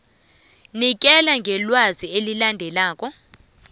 nikela ngelwazi elilandelako